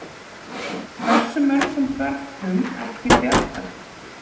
Hversu mörgum börnum ekki bjargað?